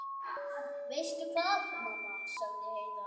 Veistu hvað, mamma, sagði Heiða.